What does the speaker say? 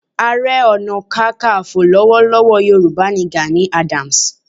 Ààrẹ Ọ̀nà Kakaǹfò lọ́wọ́lọ́wọ́ Yorùbá ni Gani Adams.